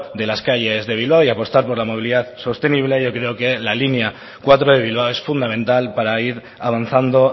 de las calles de bilbao y apostar por la movilidad sostenible y yo creo que la línea cuatro de bilbao es fundamental para ir avanzando